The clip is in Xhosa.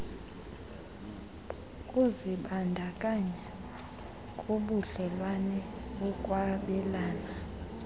kuzibandakanya kubudlelwane bokwabelana